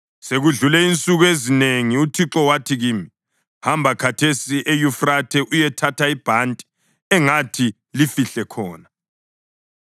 Sekudlule insuku ezinengi uThixo wathi kimi, “Hamba khathesi eYufrathe uyethatha ibhanti engathi lifihle khona.”